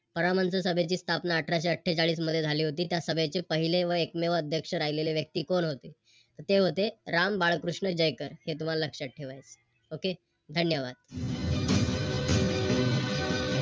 ची सभेची स्थापना अठराशे अट्ठेचाळीस मध्ये झाली होती त्या सभेचे पहिले व एकमेव अध्यक्ष राहिलेले व्यक्ती कोण होते तर ते होते राम बाळकृष्ण जयकर हे तुम्हाला लक्षात ठेवायचं आहे. Okay धन्यवाद.